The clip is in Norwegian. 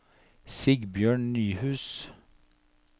Sigbjørn Nyhus